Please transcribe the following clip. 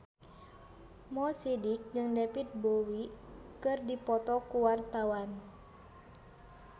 Mo Sidik jeung David Bowie keur dipoto ku wartawan